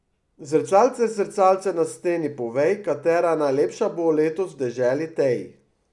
Zrcalce, zrcalce na steni, povej, katera najlepša bo letos v deželi tej!